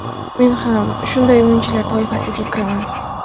Men ham shunday o‘yinchilar toifasiga kiraman.